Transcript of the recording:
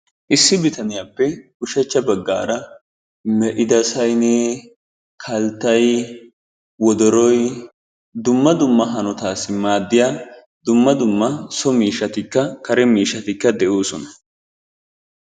issi bitaniyappe ushacha bagaara me'ida saynee kaltay wodoroy dumma dumma hanotassi maadiya dumma dumma so miishstikka kare miishshati de'oosona.